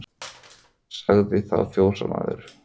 Sagði þá fjósamaður